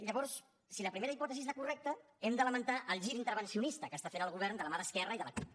llavors si la primera hipòtesi és la correcta hem de lamentar el gir intervencionista que està fent el govern de la mà d’esquerra i de la cup